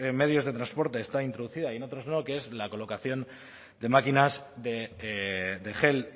medios de transporte está introducida y en otros no que es la colocación de máquinas de gel